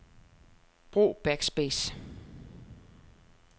Brug backspace.